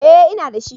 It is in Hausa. Eh ina dashi